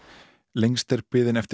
lengst er biðin eftir